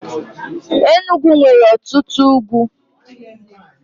Enugwu nwere ọtụtụ ugwu.